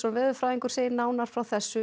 veðurfræðingur segir nánar frá þessu